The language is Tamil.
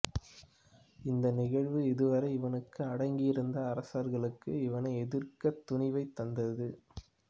இந்த நிகழ்வு இதுவரை இவனுக்கு அடங்கி இருந்த அரசர்களுக்கு இவனை எதிர்க்கத் துணிவைத் தந்தது